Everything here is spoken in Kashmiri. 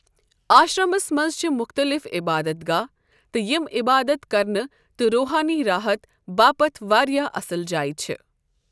آشرمَس منٛز چھِ مُختٔلِف عبادَت گاہ تہِ یِم عبادَت کرنہٕ تہٕ روحٲنی راحت باپتھ واریٛاہ اصل جایہ چھِ۔۔